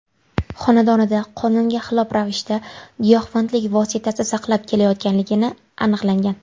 xonadonida qonunga xilof ravishda giyohvandlik vositasi saqlab kelayotganligi aniqlangan.